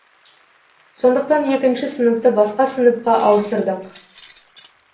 сондықтан екінші сыныпты басқа сыныпқа ауыстырдық